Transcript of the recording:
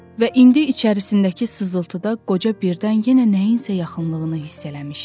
Və indi içərisindəki sızıltıda qoca birdən yenə nəyinsə yaxınlığını hiss eləmişdi.